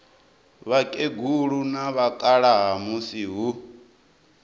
vhakegulu na vhakalaha musi hu